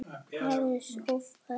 Aðeins of erfitt.